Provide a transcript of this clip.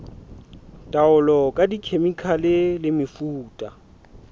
taolo ka dikhemikhale le mefuta